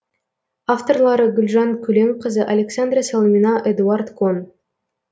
авторлары гүлжан көленқызы александра салмина эдуард кон